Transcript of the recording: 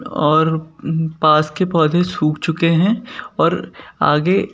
और पास के पौधे सूख चुके हैं और आगे--